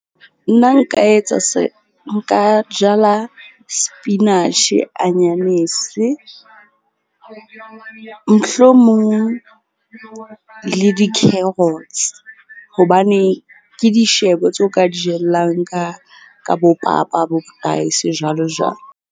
Nna nka etsa nka jala sepinatjhe, anyanese mohlomong le di-carrots. Hobane ke dishebo tseo ka di jellang ka bo papa, bo-rice jwalo jwalo.